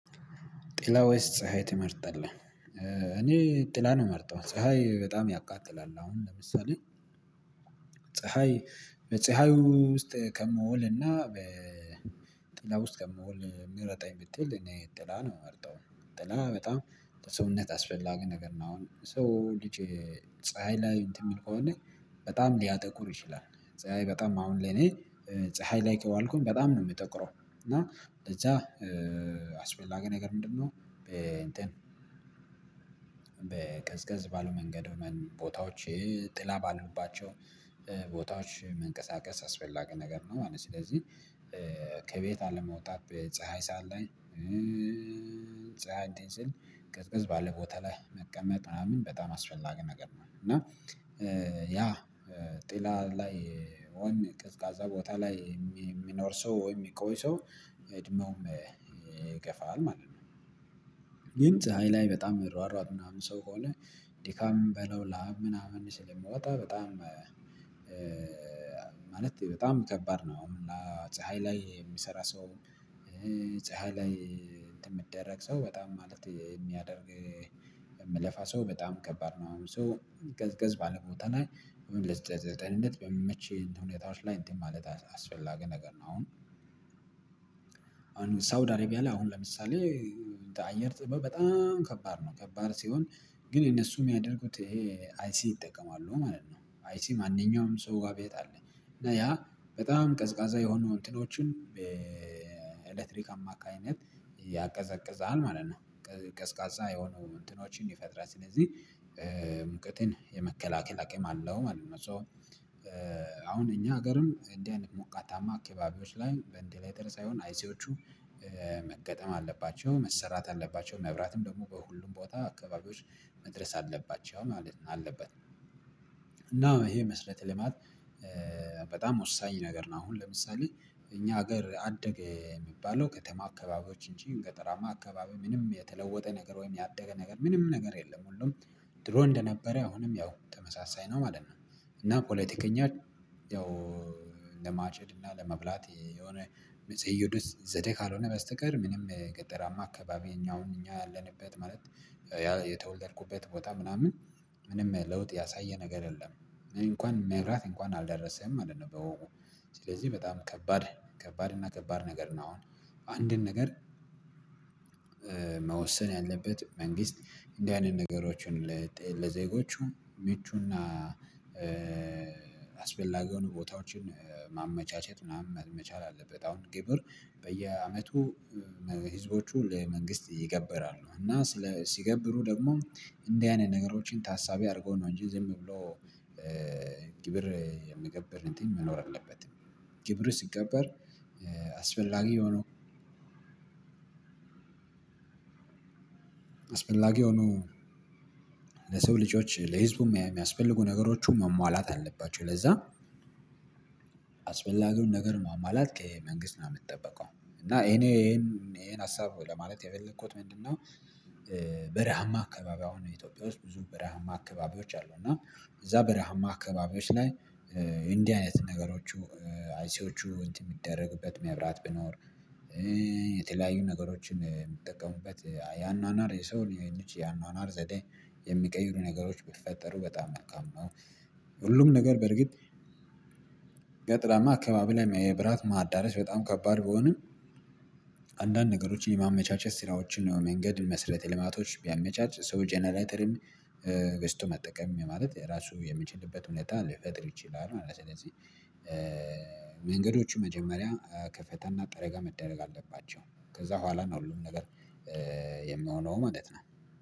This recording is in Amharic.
ጥላ ወይስ ፀሀይ ትመርጣለህ? እኔ ጥላ ነው የምመርጠው ፀሀይ በጣም ያቃጥላል። አሁን ለምሳሌ ፀሀይ በፀሀዩ ውስጥ ከምውል እና በጥላው ውስጥ ከምውል ምረጠኝ ብትል እኔ ጥላ ነው የምመርጠው። ጥላ በጣም ለሰውነት አስፈላጊ ነገር ነው። አሁን ሰው ልጅ ፀሀይ ላይ እንትን የሚል ከሆነ በጣም ሊያጠቁር ይችላል። ፀሀይ በጣም አሁን ለኔ ፀሀይ ላይ ከዋልኩኝ በጣም ነው የምጠቁረው። እና ለዛ አስፈላጊ ነገር ምንድነው? በእንትን በቀዝቀዝ ባለ መንገድ ቦታዎች ጥላ ባሉባቸው ቦታዎች መንቀሳቀስ አስፈላጊ ነገር ነው ማለት ነው። ስለዚህ ከቤት አለመውጣት በፀሀይ ሰዓት ላይ ፀሀይ እንትን ሲል ቀዝቀዝ ባለ ቦታ ላይ መቀመጥ ምናምን በጣም አስፈላጊ ነገር ነው። እና ያ ጥላ ላይ ወይም ቀዝቃዛ ቦታ ላይ የሚኖር ሰው ወይም የሚቆይ ሰው እድሜውም ይገፋል ማለት ነው። ግን ፀሀይ ላይ በጣም የሚሯሯጥ ምናምን ሰው ከሆነ ድካምም በለው ላብ ምናምን ስለሚወጣ በጣም ማለት በጣም ከባድ ነው። እና ፀሀይ ላይ የሚሰራ ሰው ፀሀይ ላይ እንትን የሚደረግ ሰው በጣም ማለት የሚያደርግ የሚለፋ ሰው በጣም ከባድ ነው። ሶ ገዝ ገዝ ባለበት ቦታ ላይ ዘጠ ለጤንነት በሚመች ሁኔታዎች ላይ እትን ማለት አስፈላጊ ነገር ነው። አሁን ሳውድ አረቢያ ላይ አሁን ለምሳሌ አየር ጥበብ በጣም ከባድ ነው ከባድ ሲሆን ግን እነሱ የሚያደርጉት ይሄ አይሲ ይጠቀማሉ ማለት ነው። አይሲ ማንኛውም ሰው ጋር ቤት አለ እና ያ በጣም ቀዝቃዛ የሆኑ እንትኖችን በኤሌክትሪክ አማካኝነት ያቀዘቅዝሃል ማለት ነው። ቀስቃሳ የሆኑ እንትኖችን ይፈጥራል ስለዚህ ሙቀትን የመከላከል አቅም አለው ማለት ነው። ሶ አሁን እኛ ሀገርም እንዲህ አይነት ሞቃታማ አካባቢዎች ላይ ቨንትሌተር ሳይሆን አይሲዎቹ መገጠም አለባቸው መሰራት አለባቸው መብራትም ደግሞ በሁሉም ቦታ አካባቢዎች መድረስ አለባቸው ማለት አለበት። እና ይሄ መስረተ ልማት በጣም ወሳኝ ነገር ነው። አሁን ለምሳሌ እኛ ሀገር አደገ የሚባለው ከተማ አካባቢዎች እንጂ ገጠራማ አካባቢ ምንም የተለወጠ ነገር ወይም ያደገ ነገር ምንም ነገር የለም። ሁሉም ድሮ እንደነበረ አሁንም ያው ተመሳሳይ ነው ማለት ነው። እና ፖለቲከኛ ያው ለማጨድ እና ለመብላት የሆነ መዘእዱት ዘዴ ካልሆነ በስተቀር ምንም ገጠራማ አካባቢዪ እኛ እኛ ያለንበት ማለት ያ የተወለደብኩበት ቦታ ምናምን ምንም ለውጥ ያሳየ ነገር የለም። እኔ እንኳን የመብራት እንኳን አልደረሰም ማለት ነው። ስለዚህ በጣም ከባድ ከባድ እና ከባድ ነገር ነው። አሁን አንድን ነገር መወሰን ያለበት መንግስት እንደዚህ አይነት ነገሮችን ለዜጎቹ ምቹና አስፈላጊውን ቦታዎችን ማመቻቸት ምናምን መቻል አለበት። አሁን ግብር በየአመቱ ህዝቦቹ ለመንግስት ይገበራሉ እና ሲገብሩ ደግሞ እንደዚህ አይነት ነገሮችን ታሳቢ አድርጎ ነው እንጂ ዝም ብሎ የምግበር እንትን መኖር አለበት። ግብር ሲገበር አስፈላጊ ሆኖ ለሰው ልጆች ለህዝቡ የሚያስፈልጉ ነገሮች መሟላት አለባቸው። ለዛ አስፈላጊውን ነገር ማሟላት ከመንግስት ነው የምትጠብቀው እና እኔ እኔ ይሄንን ሀሳብ ለማለት የፈለከውት ምንድነው? በረሃማ አካባቢ አሁን ነው ኢትዮጵያ ውስጥ ብዙ በረሃማ አካባቢዎች አሉ። እና እዛ በረሃማ አካባቢዎች ላይ እንዲህ አይነት ነገሮቹ አይሲዎቹ የሚደረግበት መብራት ቢኖር። የተለያዩ ነገሮችን የሚጠቀሙበት ያኗኗር የሰው ነውን ልጂ ያኗኗር ዘዴ የሚቀይሩ ነገሮች ብትፈጠሩ በጣም ነው። ሁሉም ነገር በርግጥ ገጠራማ አካባቢ ላይ የብራት ማዳረስ በጣም ከባድ ቢሆንም። አንዳንድ ነገሮችን የማመቻቸት ስራዎችን ነው መንገድ መስረተ ልማቶች ቢያመቻች ሰው ጀነሬተርም ገዝቶ መጠቀም ማለት ራሱ የሚችልበት ሁኔታ ሊፈጥር ይችላል ማለት ነው። ስለዚህ መንገዶቹ መጀመሪያ ከፈተና ጠረጋ መደረግ ከዛ በኋላ ነው ሁሉም ነገር የምሆነው ማለት ነው።